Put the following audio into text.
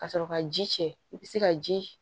Ka sɔrɔ ka ji cɛ i bi se ka ji